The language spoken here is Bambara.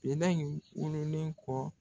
Elɛ in wololen kɔ